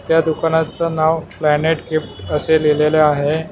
त्या दुकानाचं नाव प्लॅनेट गिफ्ट असे लिहिलेले आहे.